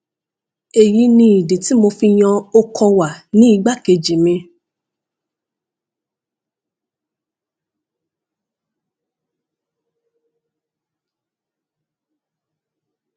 èyí ni ìdí tí mo fi yan okọwà ní igbákejì mi